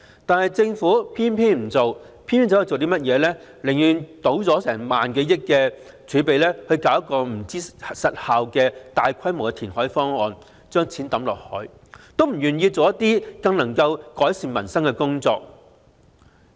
但政府偏偏不做，寧願傾盡萬多億元的儲備推行效益成疑的大規模填海方案，"倒錢落海"也不願意做一些更能改善民生的工作。